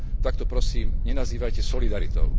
tak to prosím nenazývajte solidaritou.